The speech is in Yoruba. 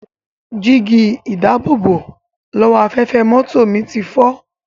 Jígí-ìdáàbòbò-lọ́wọ́-afẹ́fẹ́ mọ́tò mi ti fọ́.